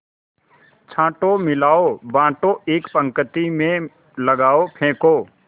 छाँटो मिलाओ बाँटो एक पंक्ति में लगाओ फेंको